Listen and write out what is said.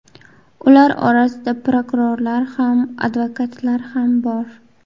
Ular orasida prokurorlar ham, advokatlar ham bor.